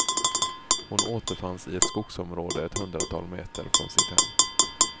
Hon återfanns i ett skogsområde ett hundratal meter från sitt hem.